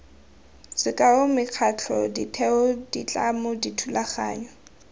sekao mekgatlho ditheo ditlamo dithulaganyo